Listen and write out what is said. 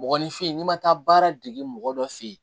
Mɔgɔninfin n'i ma taa baara dege mɔgɔ dɔ fɛ yen